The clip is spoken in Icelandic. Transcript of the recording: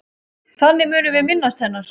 Þannig munum við minnast hennar.